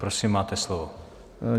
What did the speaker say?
Prosím, máte slovo.